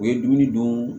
U ye dumuni don